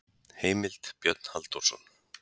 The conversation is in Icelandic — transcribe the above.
Heimild: Björn Halldórsson.